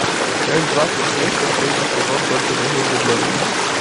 часть двадцать шесть последний сезон только между влюбленными